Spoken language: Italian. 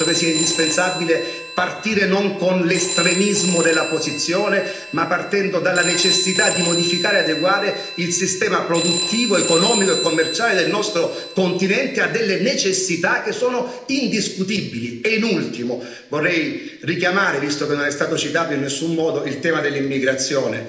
Io penso che sia indispensabile partire non con l'estremismo della posizione, ma partendo dalla necessità di modificare e adeguare il sistema produttivo, economico e commerciale del nostro continente a delle necessità che sono indiscutibili. In ultimo vorrei richiamare, visto che non è stato citato in nessun modo, il tema dell'immigrazione.